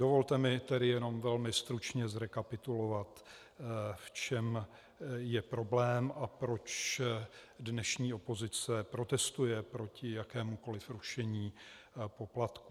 Dovolte mi tedy jenom velmi stručně zrekapitulovat, v čem je problém a proč dnešní opozice protestuje proti jakémukoli rušení poplatků.